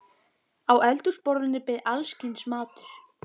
Á eldhúsborðinu beið alls kyns matur.